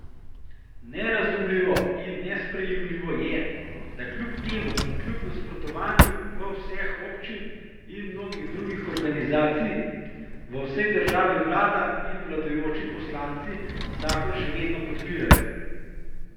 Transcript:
Nerazumljivo in nesprejemljivo je, da kljub temu in kljub nasprotovanju vseh občin in mnogih drugih organizacij v državi vlada in vladajoči poslanci zakon še vedno podpirajo.